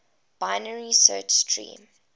binary search tree